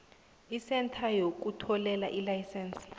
isentha yokuhlolela ilayisense